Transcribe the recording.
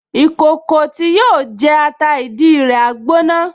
Ìkòkò tí yóò jẹ ata ìdí rẹ̀ á gbóná